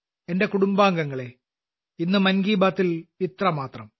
എന്റെ കുടുംബാംഗങ്ങളെ ഇന്ന് മൻ കി ബാത്തിൽ ഇത്രമാത്രം